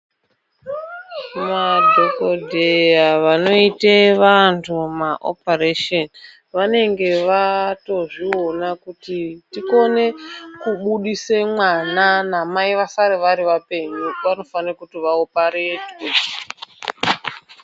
Madhokodheya vanoite vanthu maoparesheni vanenge vaatozviona kuti tikone kubudise mwana namai vasare vari vapenyu panofane kuti vaoparetwe.